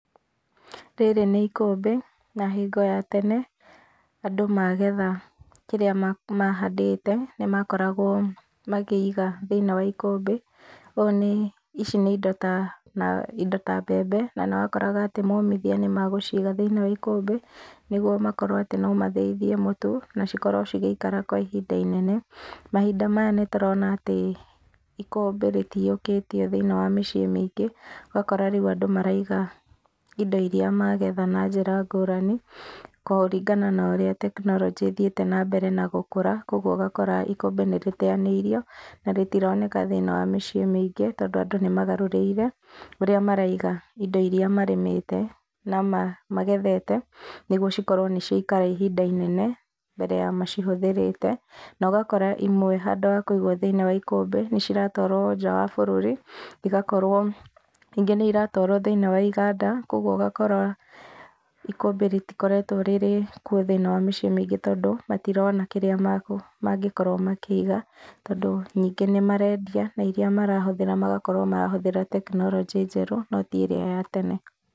Rĩrĩ nĩ ikũmbĩ na hingo ya tene andu magetha kĩrĩa mahandite nĩmakoragwo makĩiga thĩinĩ wa ikũmbĩ. Ici nĩ indo ta mbembe na nĩ wakoraga momithia nĩmegũciga thĩinĩ wa ikũmbĩ nĩguo makorwo no mathĩithie mũtu na cikorwo cigĩikara kwa ihinda inene. Mahinda maya nĩtũrona ikũmbĩ rĩtiyũkĩtio thĩinĩ wa mĩciĩ mĩingĩ. Ũgakora rĩu andũ maraiga indo iria magetha na njĩra ngũrani kũrĩngana na ũrĩa tekinoronjĩ ĩthiĩete na mbere na gũkũra. Koguo ũgakora ikũmbĩ nĩrĩteyanĩirio na rĩtironeka thĩinĩ wa mĩciĩ mĩingĩ, tondũ andũ nĩmagarũrĩire ũrĩa maraiga indo iria marĩmĩte na magethete nĩguo cikorwo nĩciaikara ihinda inene mbere ya macihũthĩrĩte. Na ũgakora imwe handũ ha kũigwo thĩinĩ wa ikũmbĩ nĩiratwarwo nja ya bũrũri igakorwo, ingĩ nĩiratwarwo thĩinĩ wa iganda koguo ũgakora ikũmbĩ rĩtikoretwo kuo thĩinĩ wa mĩciĩ mĩingĩ tondũ matirona kĩrĩa mangĩkorwo makĩiga. Tondũ nyingĩ nĩ marendia na iria marahũthĩra magakorwo marahũthĩra tekinoronjĩ ĩrĩa njerũ no ti ĩrĩa ya tene.